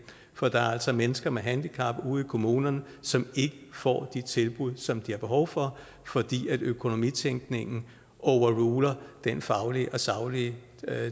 for der er altså mennesker med handicap ude i kommunerne som ikke får de tilbud som de har behov for fordi økonomitænkningen overruler den faglige og saglige